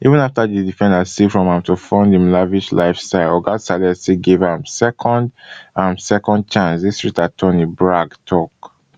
even afta di defendant steal from am to fund im lavish lifestyle oga saleh still give am second am second chancedistrict attorney bragg tok